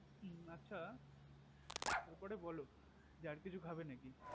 মু আচ্ছা তার পর বল আর কিছু খাবে নাকি